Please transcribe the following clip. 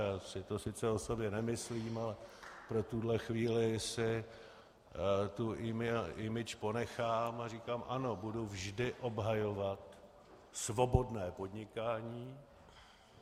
Já si to sice o sobě nemyslím, ale pro tuhle chvíli tu tuhle image ponechám a říkám ano, budu vždy obhajovat svobodné podnikání.